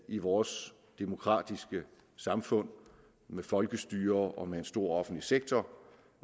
i vores demokratiske samfund med folkestyre og en stor offentlig sektor